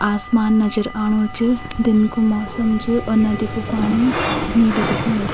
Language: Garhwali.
आसमान नजर आणू च दिन कु मौसम च और नदी कु पाणी नीलू दिखेणु च।